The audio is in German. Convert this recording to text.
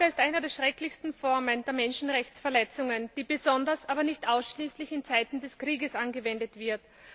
Folter ist eine der schrecklichsten Formen der Menschenrechtsverletzungen, die besonders aber nicht ausschließlich in Zeiten des Krieges angewendet wird.